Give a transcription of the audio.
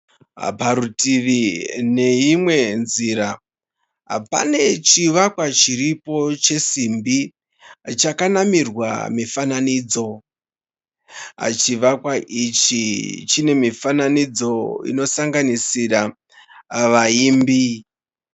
Parutivi neimwe nzira, pane chivakwa chiripo chesimbi. Chakanamirwa mifananidzo. Chivakwa ichi chine mifananidzo inosanganisira vayimbi.